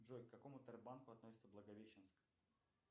джой к какому тербанку относится благовещенск